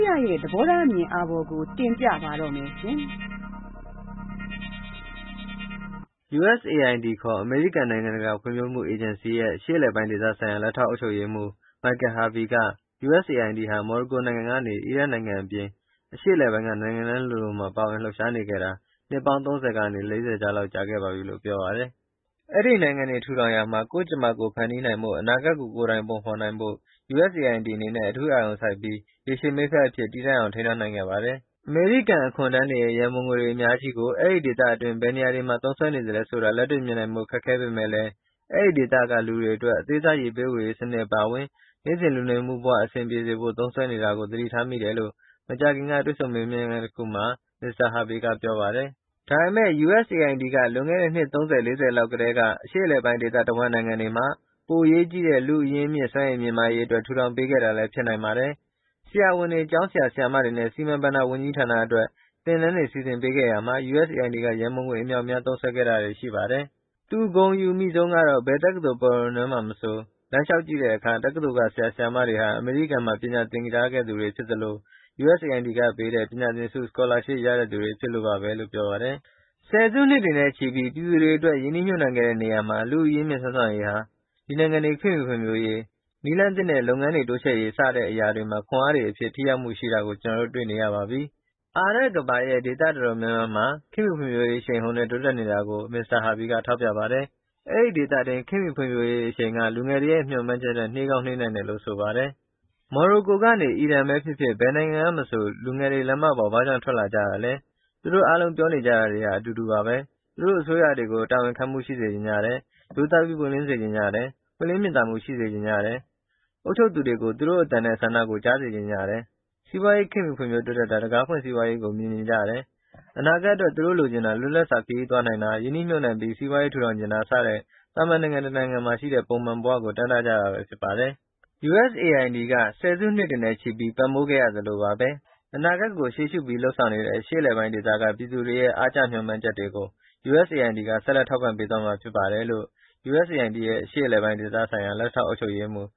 ရရဲ့ သဘောထားအမြင်အာဘော်ကို တင်ပြပါမယ်။ USAID ခေါ် အမေရိကန်နိုင်ငံတကာဖွံ့ဖြိုးမှုအေဂျင်စီရဲ့ အရှေ့အလယ်ပိုင်းဒေသဆိုင်ရာ လက်ထောက်အုပ်ချုပ်ရေးမှူး Michael Harvey က USAID ဟာ မော်ရိုကိုနိုင်ငံကနေ အီရတ်နိုင်ငံအပြင် အရှေ့အလယ်ပိုင်းက နိုင်ငံတိုင်းလိုလိုမှာ ပါဝင်လှုပ်ရှားနေခဲ့တာ အနှစ် ၃၀ ကနေ ၄၀ လောက် ကြာခဲ့ပါပြီလို့ပြောပါတယ်။ "အဲဒီနိုင်ငံတွေထူထောင်ရာမှာ ကိုယ့်ကြမ္မာကိုယ်ဖန်တီးနိုင်ဖို့၊ အနာဂတ်ကို ကိုယ်တိုင်ပုံဖေါ်နိုင်ဖို့ USAID အနေနဲ့ အထူးအာရုံစိုက်ပြီး ရေရှည်မိတ်ဖက်အဖြစ် တည်တံ့အောင်ထိန်းထားနိုင်ခဲ့ပါတယ်။" အမေရိကန်အခွန်ထမ်းတွေရဲ့ ရန်ပုံငွေတွေ အများကြီးကို အဲဒီဒေသတွင်း ဘယ်နေရာတွေမှာ သုံးစွဲ နေသလဲဆိုတာ လက်တွေ့ မြင်နိုင်ဖို့ ခက်ခဲပေမဲ့လည်း အဲဒီဒေသကလူတွေအတွက် အသေးစား ရေပေးဝေရေးစနစ်အပါအဝင် နေ့စဉ်လူနေမှုဘဝအဆင်ပြေစေဖို့ သုံးစွဲနေတာကို သတိထားမိတယ်လို့ မကြာခင်က တွေ့ဆုံမေးမြန်းခန်းတခုမှာ Mr. Harvey ကပြောပါတယ်။ “ဒါပေမယ့် USAID က လွန်ခဲ့တဲ့ အနှစ် ၃၀၊ ၄၀ လောက်ကတည်းက အရှေ့အလယ်ပိုင်း ဒေသတဝန်းနိုင်ငံတွေမှာ ပိုအရေးကြီးတဲ့ လူ့အရင်းအမြစ်စွမ်းရည်မြင့်မားရေးအတွက် ထူထောင် ပေးခဲ့တာလည်း ဖြစ်နိုင်ပါတယ်။ ဆရာဝန်တွေ၊ကျောင်းဆရာ၊ ဆရာမတွေနဲ့ စီမံဘဏ္ဍာဝန်ကြီးဌာန အတွက် သင်တန်းတွေစီစဉ်ပေးခဲ့ရာမှာ USAID က ရန်ပုံငွေအမြောက်အများ သုံးစွဲခဲ့တာတွေ ရှိပါတယ်။" သူ ဂုဏ်အယူမိဆုံးကတော့ ဘယ်တက္ကသိုလ်ပရဝဏ်ထဲမှာမဆို လမ်းလျှောက်ကြည့်တဲ့အခါ တက္ကသိုလ်က ဆရာ၊ဆရာမတွေဟာ အမေရိကန်မှာ ပညာသင်ခဲ့ကြသူဖြစ်သလို၊ USAID ကပေးတဲ့ ပညာသင်ဆု Scholarship ရတဲ့သူတွေဖြစ်လို့ပါဘဲလို့ ပြောပါတယ်။ “၁၀ စုနှစ်တွေနဲ့ ချီပြီး ပြည်သူတွေအတွက် ရင်းနှီးမြှုပ်နှံခဲ့တဲ့နေရာမှာ လူ့အရင်းအမြစ်၊ စွမ်းဆောင်ရည်ဟာ ဒီနိုင်ငံတွေ ခေတ်မှီဖွံ့ဖြိုးရေး၊ နည်းလမ်းသစ်နဲ့ လုပ်ငန်းတွေတိုးချဲ့ရေးစတဲ့အရာ တွေမှာ ခွန်အားတွေအဖြစ် ထိရောက်မှုရှိတာကို ကျနော်တို့ တွေ့နေရပါပြီ။" အာရပ်ကမ္ဘာရဲ့ ဒေသအတော်များများမှာ ခေတ်မှီဖွံဖြိုးရေး အရှိန်အဟုန်နဲ့ တိုးတက်နေတာကို Mr. Harvey ထောက်ပြပါတယ်။ အဲဒီဒေသတွင်းခတ်မှီဖွံဖြိုးရေးအရှိန်က လူငယ်တွေရဲ့ မျှော်မှန်းချက်ထက်၊ နှေးကောင်းနှေးနိုင်တယ်လို့ ဆိုပါတယ်။ “မော်ရိုကိုကနေ အီရန်..ဘဲဖြစ်ဖြစ်၊ ဘယ်နိုင်ငံကမဆို လူငယ်တွေ လမ်းမတွေပေါ် ဘာကြောင့် ထွက်လာကြတာလဲ၊ သူတို့အားလုံး ပြောနေကြတာတွေဟာ အတူတူပါဘဲ။ သူတို့ အစိုးရတွေကို တာဝန်ခံမှုရှိစေချင်ကြတယ်၊ ရိုးသားပြီးပွင့်လင်းစေချင်ကြတယ်၊ ပွင့်လင်းမြင်သာမှုရှိစေချင်ကြတယ်။ အုပ်ချုပ်သူတွေကို သူတို့အသံနဲ့ ဆန္ဒကိုကြားစေချင်ကြတယ်၊ စီးပွားရေးခေတ်မှီတိုးတက်တာ၊ တံခါးဖွင့်စီးပွားရေးကို မြင်ချင်ကြတယ်။ အနာဂတ်အတွက် သူတို့လိုချင်တာ၊ လွတ်လပ်စွာ ခရီးသွားနိုင်တာ၊ ရင်းနှီးမြှုပ်နှံပြီး စီးပွားရေးထူထောင်ချင်တာစတဲ့ သာမန်နိုင်ငံတနိုင်ငံမှာရှိတဲ့ ပုံမှန်ဘဝကို တမ်းတကြတာဘဲဖြစ်ပါတယ်။" USAID က ၁၀ စုနှစ်တွေနဲ့ချီပြီး ပံ့ပိုးခဲ့သလိုပါဘဲ၊အနာဂတ်ကိုရှေ့ရှုပြီး လုပ်ဆောင်နေတဲ့ အရှေ့အလယ်ပိုင်းဒေသက ပြည်သူတွေရဲ့ အားကျမျှော်မှန်းချက်တွေကို USAID က ဆက်လက် ထောက်ပံ့သွားမှာဖြစ်ပါတယ်လို့ USAID ရဲ့ အရှေ့အလယ်ပိုင်းဒေသဆိုင်ရာ လက်ထောက်အုပ်ချုပ်ရေးမှူး